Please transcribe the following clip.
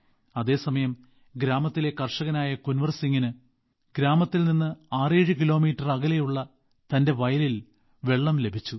അതേസമയം ഗ്രാമത്തിലെ കർഷകനായ കുൻവർ സിംഗിനു ഗ്രാമത്തിൽ നിന്ന് 67 കിലോമീറ്റർ അകലെയുള്ള തന്റെ വയലിൽ വെള്ളം ലഭിച്ചു